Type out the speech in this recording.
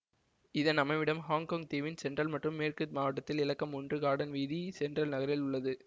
இதன் அமைவிடம் ஹொங்கொங் தீவின் சென்ட்ரல் மற்றும் மேற்கு மாவட்டத்தில் இலக்கம் ஒன்று கார்டன் வீதி சென்ட்ரல் நகரில் உள்ளது